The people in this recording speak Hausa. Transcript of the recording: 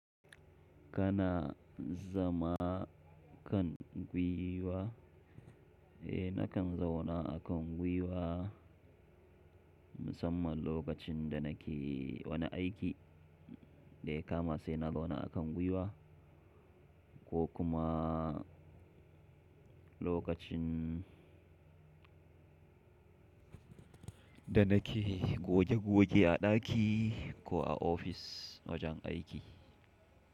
Kana zama kan gwiwa? Eh nakan zauna a kan gwiwa musamman lokacin da nake wani aiki daya kama sai na zauna a kan gwiwa ko kuma lokacin da nake goge goge a daki ko a ofis wajen aiki.